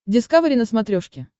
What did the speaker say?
дискавери на смотрешке